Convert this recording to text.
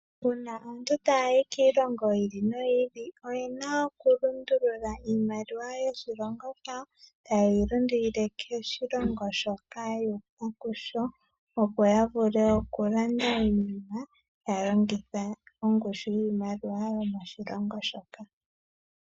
Uuna aantu ta yayi kiilongo yiili no yiili oyena oku lundulula iimaliwa yoshilongo shawo tayeyi lundulile koshilongo shoka yuuka kusho opo ya vule oku landa iinima taya longitha ongushu yiimaliwa yomoshilongo shoka.